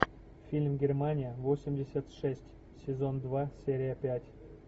фильм германия восемьдесят шесть сезон два серия пять